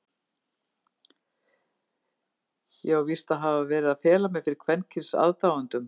Ég á víst að hafa verið að fela mig fyrir kvenkyns aðdáendum?!